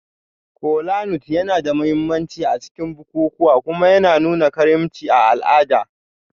Kolanut yana da mahimmanci a cikin bukukuwa kuma yana nuna karimci a al'ada.